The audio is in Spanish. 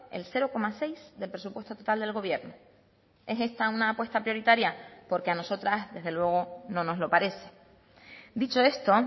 el cero coma seis del presupuesto total del gobierno es esta una apuesta prioritaria porque a nosotras desde luego no nos lo parece dicho esto